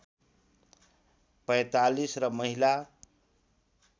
४५ र महिला